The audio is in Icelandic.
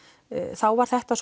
þá var þetta